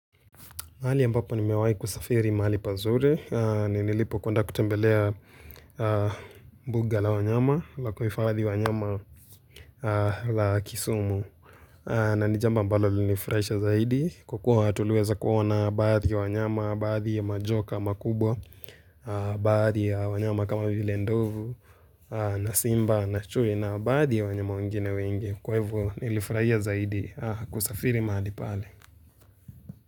Mahali ambapa nimewahi kusafiri mahali pazuri. Ni nilipo kwenda kutembelea buga la wanyama la kuhifadhi wanyama la kisumu. Na ni jambo ambalo linifurahisha zaidi kwa kua kuona baadhi ya wanyama, baadhi ya majoka makubwa, baadhi ya wanyama kama vile ndovu, na simba, na chui na baadhi ya wanyama wengine wengi Kwa hivo nilifurahia zaidi kusafiri mahali pale.